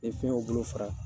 Bɛ fɛnw bolo fara